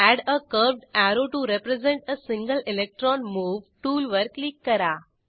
add a curved arrow to represent a single electron move टूलवर click करा